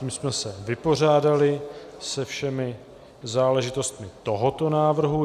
Tím jsme se vypořádali se všemi záležitostmi tohoto návrhu.